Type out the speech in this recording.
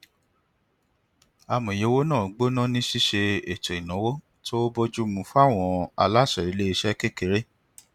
amòye owó náà gbóná ní ṣiṣe ètò ináwó tó bójú mu fún àwọn aláṣẹ ilé iṣẹ kékeré